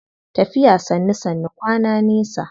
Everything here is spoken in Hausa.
Tafiya sannu sannu kwana nesa.